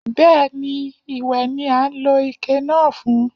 Bẹ́ẹ̀ni, ìwẹ̀ ni a ń lo ike náà fún.